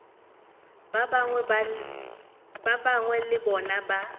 ba gagwe le bona ba